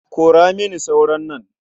Kora mini sauron nan.